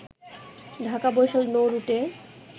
Dhaka-Barishal নৌরুটে